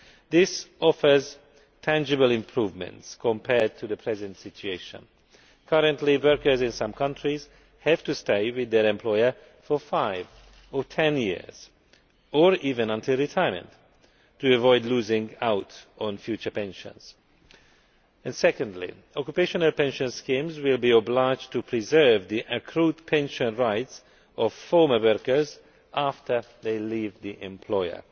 This offers tangible improvements compared to the present situation. Currently workers in some countries have to stay with their employer for five or 10 years, or even until retirement, to avoid losing out on future pensions. Secondly, occupational pension schemes will be obliged to preserve the accrued pension rights of former workers after they leave the employer.